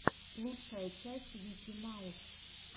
лучшая часть вики маус